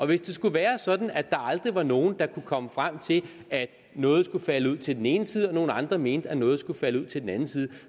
hvis det skulle være sådan at der aldrig var nogen der kunne komme frem til at noget skulle falde ud til den ene side og nogle andre mente at noget skulle falde ud til den anden side